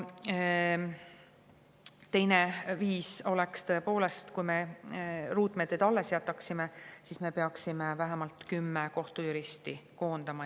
Teine viis oleks tõepoolest, kui me ruutmeetrid alles jätaksime, et me peaksime vähemalt kümme kohtujuristi koondama.